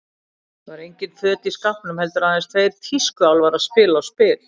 Það voru engin föt í skápnum, heldur aðeins tveir tískuálfar að spila á spil.